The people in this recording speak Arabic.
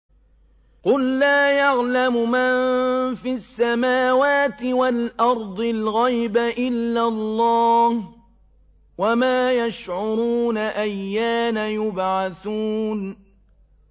قُل لَّا يَعْلَمُ مَن فِي السَّمَاوَاتِ وَالْأَرْضِ الْغَيْبَ إِلَّا اللَّهُ ۚ وَمَا يَشْعُرُونَ أَيَّانَ يُبْعَثُونَ